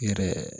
Yɛrɛ